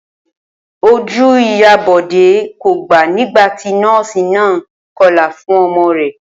Ojú ìyá Bò̩dé kò gbàá nígbà tí nó̩ò̩sì náà ń ko̩là fún o̩mo̩ rè̩